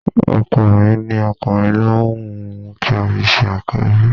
Ọkọ mi ní ọkùnrin ló un òun kí a fi ṣe Àkọ́bí